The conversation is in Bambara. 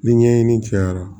Ni ɲɛɲini cayara